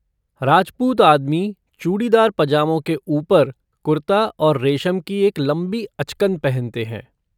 राजपूत आदमी, चूड़ीदार पजामों के ऊपर कुर्ता और रेशम की एक लंबी अचकन पहनते हैं।